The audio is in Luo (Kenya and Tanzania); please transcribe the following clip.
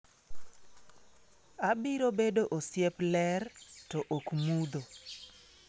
‘Abiro bedo osiep ler, to ok mudho.